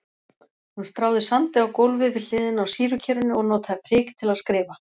Hún stráði sandi á gólfið við hliðina á sýrukerinu og notaði prik til að skrifa.